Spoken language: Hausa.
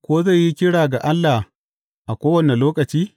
Ko zai yi kira ga Allah a kowane lokaci?